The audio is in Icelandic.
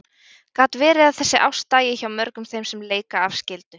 Gat verið að þessi ást dæi hjá mörgum þeim sem leika af skyldu?